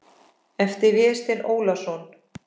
eftir Véstein Ólason